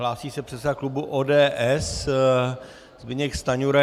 Hlásí se předseda klubu ODS Zbyněk Stanjura.